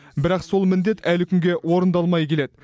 бірақ сол міндет әлі күнге орындалмай келеді